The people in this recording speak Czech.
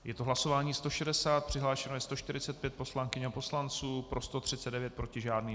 Je to hlasování 160, přihlášeno je 145 poslankyň a poslanců, pro 139, proti žádný.